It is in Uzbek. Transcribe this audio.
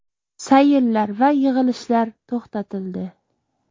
Sayillar va yig‘ilishlar to‘xtatildi.